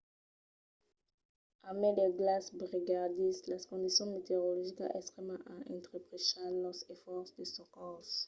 a mai del glaç brigalhadís las condicions meteorologicas extrèmas an entrepachat los esfòrces de socors